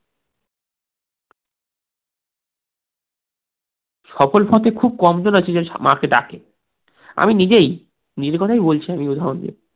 সফল পথে খুব কম জন আছে যে মাকে ডাকে আমি নিজেই, নিজের কথা ই বলছি, আমি উদাহরণ দিয়ে